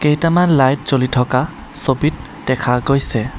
কেইটামান লাইট জ্বলি থকা ছবিত দেখা গৈছে।